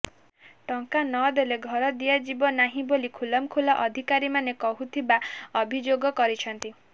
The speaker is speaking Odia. ଟଙ୍କା ନଦେଲେ ଘର ଦିଆଯିବ ନାହିଁ ବୋଲି ଖୁଲମ୍ଖୁଲା ଅଧିକାରୀମାନେ କହୁଥିବା ଅଭିଯୋଗ କରିଛନ୍ତି